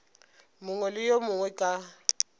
mongwe le yo mongwe ka